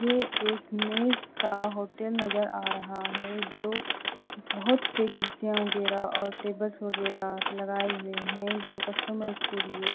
ये एक मेज का होटल नजर आ रहा हैं जो बहोंत से कुर्सियां वगैरा और टेबल्स वगैरा लगाए हुए हैं जो कस्टमर्स के लिए--